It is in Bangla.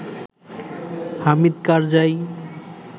হামিদ কারজাই